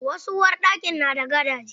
Wasu uwarɗakin na da gadaje.